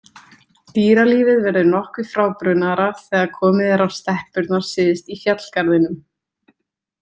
Dýralífið verður nokkuð frábrugðnara þegar komið er á steppurnar syðst í fjallgarðinum.